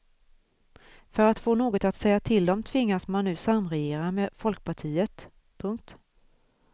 För att få något att säga till om tvingas man nu samregera med folkpartiet. punkt